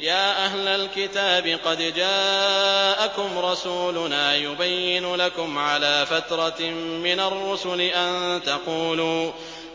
يَا أَهْلَ الْكِتَابِ قَدْ جَاءَكُمْ رَسُولُنَا يُبَيِّنُ لَكُمْ عَلَىٰ فَتْرَةٍ مِّنَ الرُّسُلِ